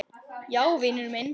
Já, vinur minn.